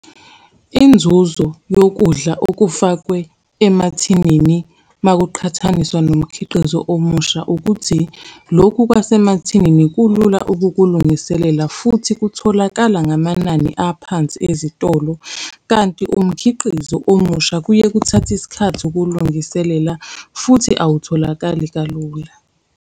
Inzuzo yokudla okufakwe emathinini makuqhathaniswa nomkhiqizo omusha, ukuthi lokhu kwasemathinini kulula ukukulungiselela, futhi kutholakala ngamanani aphansi ezitolo, kanti umkhiqizo omusha kuye kuthathe isikhathi ukuwulungiselela, futhi awutholakali kalula.